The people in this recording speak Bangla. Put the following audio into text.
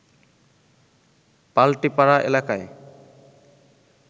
পাল্টিপাড়া এলাকায়